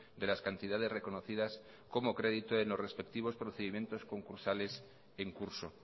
de las cantidades reconocidas como crédito en los respectivos procedimientos concursales en curso